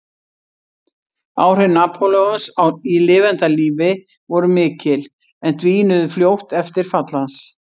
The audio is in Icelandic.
Áhrif Napóleons í lifanda lífi voru mikil en dvínuðu fljótt eftir fall hans.